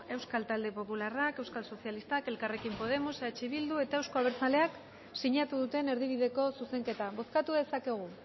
euskal talde popularrak euskal sozialistak elkarrekin podemos eh bildu eta euzko abertzaleak sinatu duten erdibideko zuzenketa bozkatu dezakegu